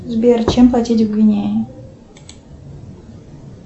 сбер чем платить в гвинее